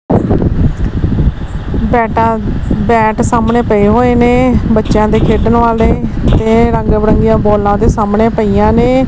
Data bat ਸਾਹਮਣੇ ਪਏ ਹੋਏ ਨੇ ਬੱਚਿਆਂ ਦੇ ਖੇਡਣ ਵਾਲੇ ਤੇ ਰੰਗ ਬਿਰੰਗੀਆਂ ਬੋਲਾਂ ਦੇ ਸਾਹਮਣੇ ਪਈਆਂ ਨੇ।